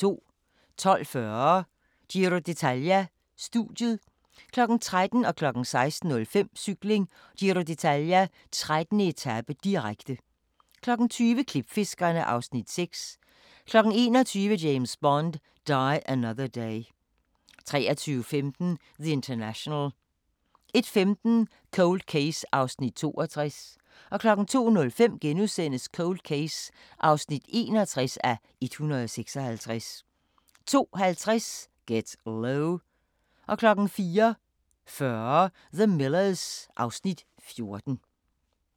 12:40: Giro d'Italia: Studiet 13:00: Cykling: Giro d'Italia - 13. etape, direkte 16:05: Cykling: Giro d'Italia - 13. etape, direkte 20:00: Klipfiskerne (Afs. 6) 21:00: James Bond: Die Another Day 23:15: The International 01:15: Cold Case (62:156) 02:05: Cold Case (61:156)* 02:50: Get Low 04:40: The Millers (Afs. 14)